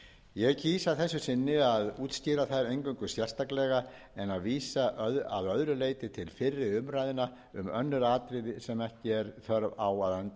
ég kýs að þessu sinni að útskýra þær eingöngu sérstaklega en vísa að öðru leyti til fyrri umræðna um önnur atriði sem ekki er þörf á